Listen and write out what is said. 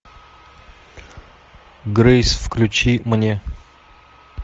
грейс включи мне